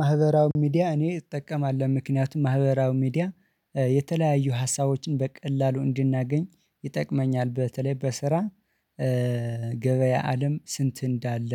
ማህበራዊ ሚዲያ እኔ እጠቀማለሁ ምክንያቱም ማህበራዊ ሚዲያ የተለያዩ ሀሳቦችን በቀላሉ እንድናገኝ ይጠቅመኛል በተለይ በስራ ገበያ አለም ስንት እንዳለ?